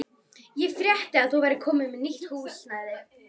Ég frétti að þú værir komin með nýtt húsnæði.